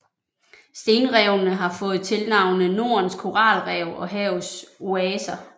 Stenrevene har fået tilnavnene Nordens Koralrev og Havets Oaser